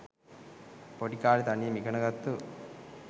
පොඩිකාලේ තනියම ඉගෙනගත්තු